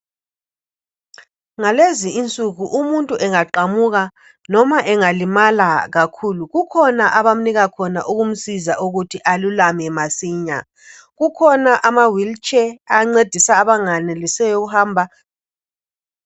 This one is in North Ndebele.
Ngalezi insuku umuntu engaqamuka noma engalimala kakhulu kukhona abamnika khona ukumsiza ukuthi alulame masinya. Kukhona amawheelchair ancedisa abanganelisiyo ukuhamba.